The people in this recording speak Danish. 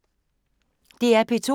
DR P2